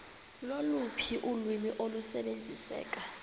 loluphi ulwimi olusebenziseka